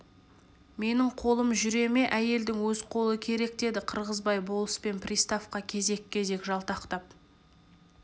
менің қолым жүре ме әйелдің өз қолы керек деді қырғызбай болыс пен приставқа кезек-кезек жалтақтап